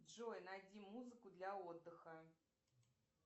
джой найди музыку для отдыха